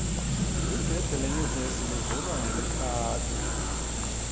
ligede leyunivesi livulwa ngelikhadi